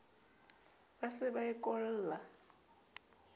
ba se ba e kolla